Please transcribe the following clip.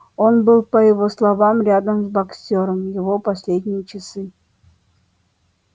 он был по его словам рядом с боксёром в его последние часы